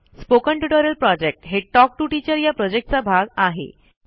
spoken tutorial project हे talk to teacher या प्रॉजेक्टचा भाग आहे